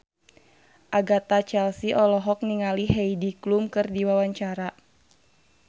Agatha Chelsea olohok ningali Heidi Klum keur diwawancara